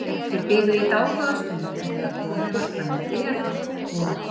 Þeir biðu í dágóða stund en þegar komið var fram í þriðja þátt og